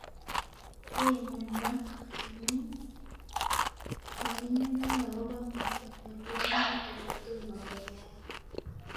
Keiman Mark amu kokingalal akopo ngoliot noto kotomo koyayak.